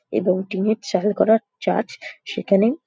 এবং টিনের চাল করা চার্চ সেখানে--